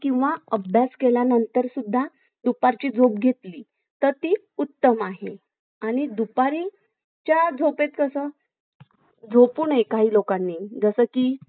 किंवा अभ्यास केल्यानंतर दुपारची झोप घेतली तर ती उत्तम आहे आणीदुपारच्या झोपेत कस झोपू नये काही लोकांनी जसे की